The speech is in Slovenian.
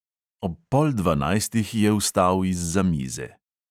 Ob pol dvanajstih je vstal izza mize.